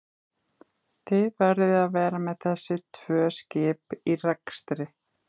Þið verðið að vera með þessi tvö skip í rekstri?